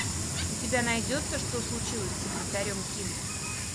у тебя найдется что случилось с секретарем ким